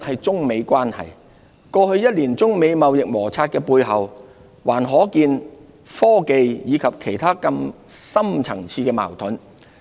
中美關係第一，過去一年中美貿易摩擦的背後，還可見科技及其他更深層次的矛盾。